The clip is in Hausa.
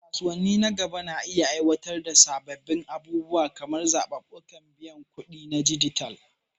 Kasuwanni nan gaba na iya aiwatar da sabbin abubuwa kamar zaɓuɓɓukan biyan kuɗi na dijital.